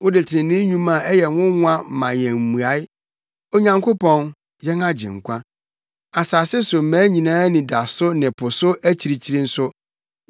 Wode trenee nnwuma a ɛyɛ nwonwa ma yɛn mmuae, Onyankopɔn, yɛn agyenkwa, asase so mmaa nyinaa anidaso ne po so akyirikyiri nso.